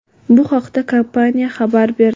Bu haqda kompaniya xabar berdi.